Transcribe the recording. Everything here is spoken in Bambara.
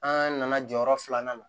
An nana jɔyɔrɔ filanan na